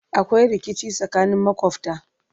akwai rikici tsakanin makwafta